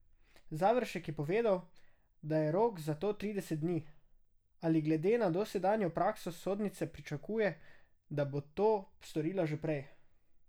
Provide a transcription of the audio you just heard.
Završek je povedal, je rok za to trideset dni, a glede na dosedanjo prakso sodnice pričakuje, da bo to storila že prej.